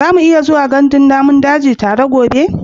Za mu iya zuwa gandun namun daji tare gobe?